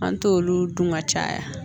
An t'olu dun ka caya